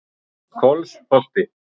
Kolsholti